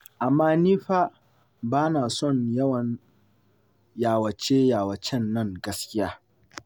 Amma ni fa ba na son yawan yawace-yawacen nan gaskiya.